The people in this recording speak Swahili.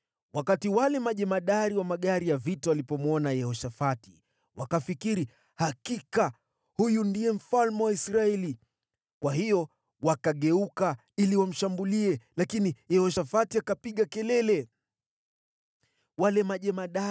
Wakati wale majemadari wa magari ya vita walipomwona Yehoshafati, wakafikiri, “Hakika huyu ndiye mfalme wa Israeli.” Kwa hiyo wakageuka ili wamshambulie, lakini Yehoshafati akapiga kelele, naye Bwana akamsaidia. Mungu akawaondoa kwake,